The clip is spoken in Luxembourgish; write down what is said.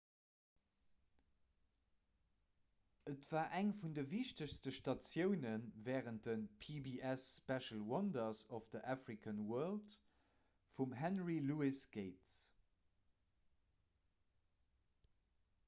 et war eng vun de wichtegste statioune wärend de pbs special wonders of the african world vum henry louis gates